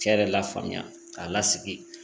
Cɛ yɛrɛ lafaamuya k'a lasigi